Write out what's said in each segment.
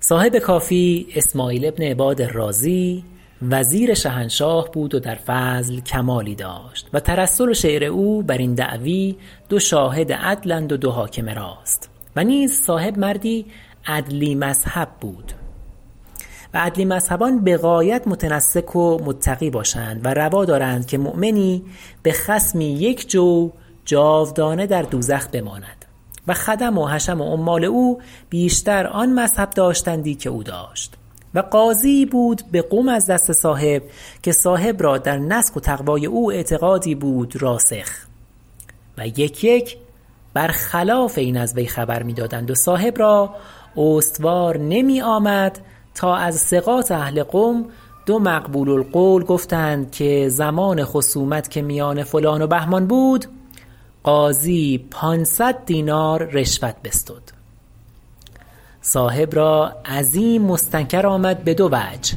صاحب کافی اسماعیل بن عباد الرازی وزیر شهنشاه بود و در فضل کمالی داشت و ترسل و شعر او بر این دعوی دو شاهد عدل اند و دو حاکم راست و نیز صاحب مردی عدلی مذهب بود و عدلی مذهبان بغایت متنسک و متقی باشند و روا دارند که مؤمنی به خصمی یک جو جاودانه در دوزخ بماند و خدم و حشم و عمال او بیشتر آن مذهب داشتندی که او داشت و قاضییی بود به قم از دست صاحب که صاحب را در نسک و تقوی او اعتقادی بود راسخ و یک یک بر خلاف این از وی خبر میدادند و صاحب را استوار نمی آمد تا از ثقات اهل قم دو مقبول القول گفتند که زمان خصومت که میان فلان و بهمان بود قاضی پانصد دینار رشوت بستد صاحب را عظیم مستنکر آمد به دو وجه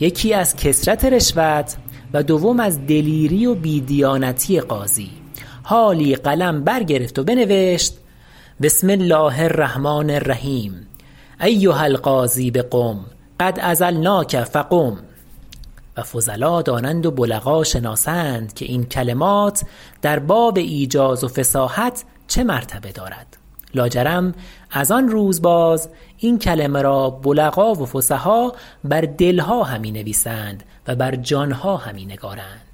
یکی از کثرت رشوت و دوم از دلیری و بی دیانتی قاضی حالی قلم بر گرفت و بنوشت بسم الله الرحمن الرحیم ایها القاضی بقم قد عزلناک فقم و فضلا دانند و بلغا شناسند که این کلمات در باب ایجاز و فصاحت چه مرتبه دارد لا جرم از آن روز باز این کلمه را بلغا و فصحا بر دلها همی نویسند و بر جانها همی نگارند